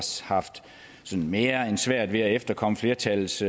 haft mere end svært ved at efterkomme flertallets